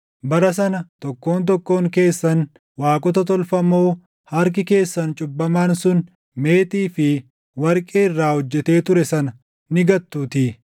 Bara sana tokkoon tokkoon keessan waaqota tolfamoo harki keessan cubbamaan sun meetii fi warqee irraa hojjetee ture sana ni gattuutii.